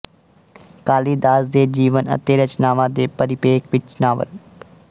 ਕਾਲੀਦਾਸ ਦੇ ਜੀਵਨ ਅਤੇ ਰਚਨਾਵਾਂ ਦੇ ਪਰਿਪੇਖ ਵਿੱਚ ਨਾਵਲ